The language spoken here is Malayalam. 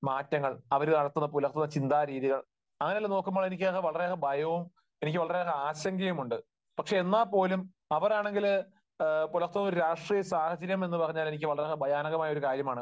മാറ്റങ്ങൾ, അവർ നടത്തുന്ന, പുലർത്തുന്ന ചിന്താരീതികൾ അങ്ങനെയൊക്കെ നോക്കുമ്പോൾ എനിക്ക് വളരെയധികം ഭയവും എനിക്ക് വളരെയേറെ ആശങ്കയുമുണ്ട്. പക്ഷെ എന്നാൽ പോലും അവരാണെങ്കിൽ പുലർത്തുന്ന ഒരു രാഷ്ട്രീയ സാഹചര്യം എന്നുപറഞ്ഞാൽ എനിക്ക് വളരെയേറെ ഭയാനകമായ ഒരു കാര്യമാണ്.